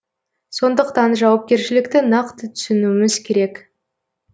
сондықтан жауапкершілікті нақты түсінуіміз керек